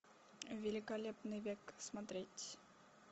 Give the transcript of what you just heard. великолепный век смотреть